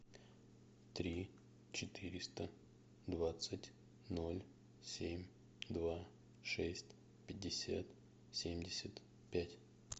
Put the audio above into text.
три четыреста двадцать ноль семь два шесть пятьдесят семьдесят пять